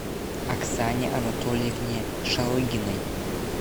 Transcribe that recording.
оксане анатольевне шалыгиной